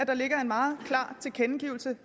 der ligger en meget klar tilkendegivelse